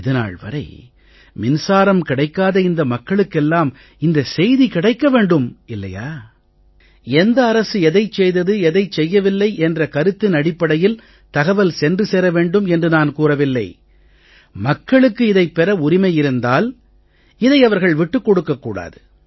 இது நாள் வரை மின்சாரம் கிடைக்காத இந்த மக்களுக்கெல்லாம் இந்தச் செய்தி கிடைக்க வேண்டுமா இல்லையா எந்த அரசு எதைச் செய்தது எதைச் செய்யவில்லை என்ற கருத்தினடிப்படையில் தகவல் சென்று சேர வேண்டும் என்று நான் கூறவில்லை மக்களுக்குப் இதைப் பெற உரிமை இருந்தால் இதை அவர்கள் விட்டுக் கொடுக்கக் கூடாது